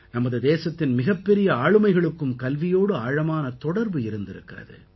நமது தேசத்தின் மிகப்பெரிய ஆளுமைகளுக்கும் கல்வியோடு ஆழமான தொடர்பு இருந்திருக்கிறது